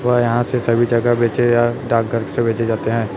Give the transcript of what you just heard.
व यहां से सभी जगह बेचे या डाक घर से बेचे जाते हैं।